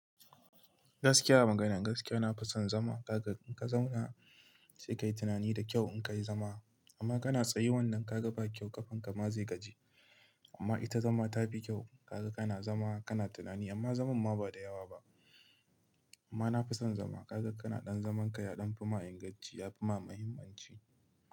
Gaskiya a magana, gaskiya na fi son zama. Kaga in ka zauna sai ka yi tunani da kyau in ka yi zama amma kana tsayu wannan ka ga ba kyau ƙafanka ma zai gaji. Amma ita zama ta fi kyau kaga kana zama kana tunani amma zaman ma ba da yawa ba. Amma na fi son zama kaga kana ɗan zaman ka ya ɗan fi ma inganci ya fi ma muhimmanci.